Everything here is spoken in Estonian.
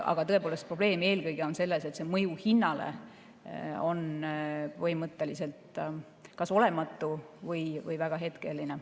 Aga tõepoolest, probleem on eelkõige selles, et mõju hinnale on põhimõtteliselt kas olematu või väga hetkeline.